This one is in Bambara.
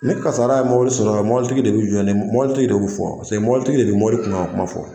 Ni kasaara ye mobili sɔrɔ, mobilitigi de bɛ jɔn ni motigi de bɛ fɔ paseke mobilitigi de bɛ mobili kun ko kuma fɔ.